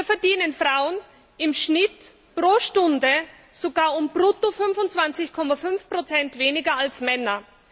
Hier verdienen Frauen im Schnitt pro Stunde sogar um Brutto 25,5 Prozent weniger als Männer.